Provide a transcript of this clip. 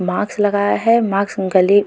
marks लगाया है marks उंगली --